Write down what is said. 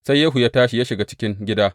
Sai Yehu ya tashi ya shiga cikin gida.